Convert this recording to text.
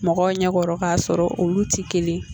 Mɔgɔw ɲɛkɔrɔ ka sɔrɔ olu tɛ kelen yen.